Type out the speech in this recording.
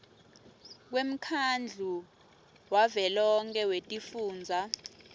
kwemkhandlu wavelonkhe wetifundza